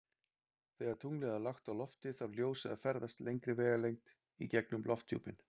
Þegar tunglið er lágt á lofti þarf ljósið að ferðast lengri vegalengd í gegnum lofthjúpinn.